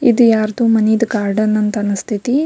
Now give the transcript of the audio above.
ಇದು ಯಾರ್ದೋ ಮನೇದು ಗಾರ್ಡನ್ ಅಂತ ಅನಿಸ್ತಾಇಥಿ.